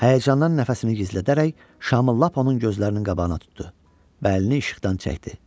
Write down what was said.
Həyəcandan nəfəsini gizlədərək şamı lap onun gözlərinin qabağına tutdu və əlini işıqdan çəkdi.